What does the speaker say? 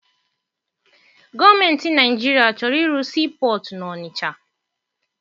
Gọọmentị Naịjirịa chọrọ ịrụ sii pọtụ n'Ọnịcha.